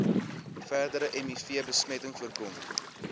verdere mivbesmetting voorkom